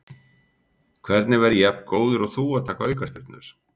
Hvernig verð ég jafn góður og þú að taka aukaspyrnur?